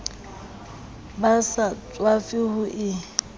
ba sa tswafe ho e